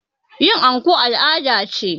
Yin anko al' ada ce